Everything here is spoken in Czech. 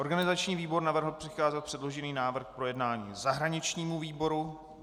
Organizační výbor navrhl přikázat předložený návrh k projednání zahraničnímu výboru.